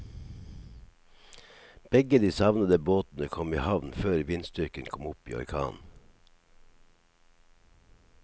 Begge de savnede båtene kom i havn før vindstyrken kom opp i orkan.